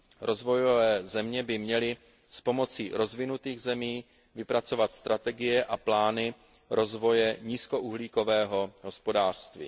Rozvojové země by měly s pomocí rozvinutých zemí vypracovat strategie a plány rozvoje nízkouhlíkového hospodářství.